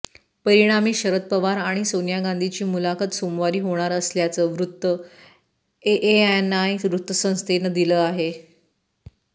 परिणामी शरद पवार आणि सोनिया गांधीची मुलाखत सोमवारी होणार असल्याचं वृत्त एएनआय वृत्तसंस्थेनं दिलं आहे